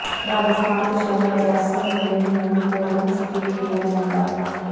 ਰਾਜਸਥਾਨ ਦੇ ਸ਼ਹਿਰ ਜੈਸਲਮੇਰ ਨੂੰ ਗੋਲਡਨ ਸਿਟੀ ਵੀ ਕਿਹਾ ਜਾਂਦਾ ਹੈ